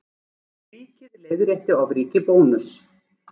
Ríkið leiðrétti ofríki Bónuss